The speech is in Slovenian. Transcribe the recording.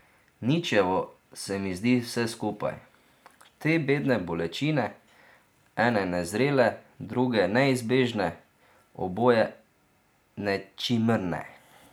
Ničevo se mi zdi vse skupaj, te bedne bolečine, ene nezrele, druge neizbežne, oboje nečimrne.